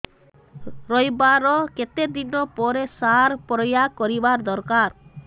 ରୋଈବା ର କେତେ ଦିନ ପରେ ସାର ପ୍ରୋୟାଗ କରିବା ଦରକାର